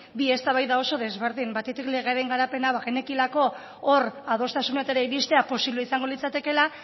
bi eztabaida oso desberdin batetik legearen garapena bagenekielako hor adostasunetara iristea posible izango litzatekela